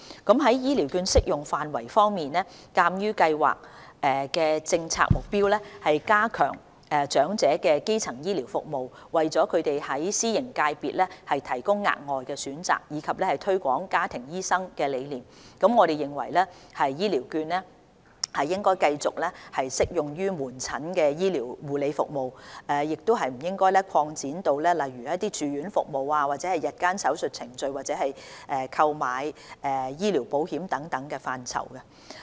在醫療券的適用範圍方面，鑒於計劃的政策目標是加強長者的基層醫療服務、為他們在私營界別提供額外選擇，以及推廣家庭醫生的理念，我們認為醫療券應繼續只適用於門診醫療護理服務，而不應擴展至例如住院服務、日間手術程序或購買醫療保險等範疇。